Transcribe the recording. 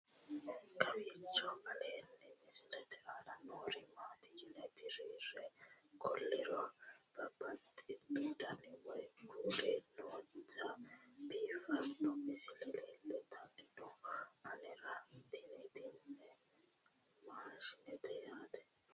kowiicho aleenni misilete aana noori maati yine titire kulliro babaxino dani woy kuuli nooti biiffanno misile leeltanni nooe anera tino tini maashshinete yaate